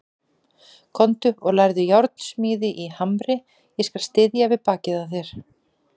Komdu og lærðu járnsmíði í Hamri, ég skal styðja við bakið á þér.